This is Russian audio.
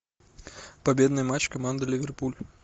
победный матч команды ливерпуль